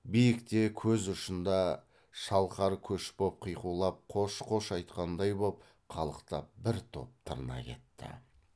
биікте көз ұшында шалқар көш боп қиқулап қош қош айтқандай боп қалықтап бір топ тырна кетті